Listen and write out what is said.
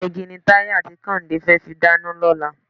Iná igi ni Táyé àti Kẹ́hìndé fẹ́ fi dáná lọ́la.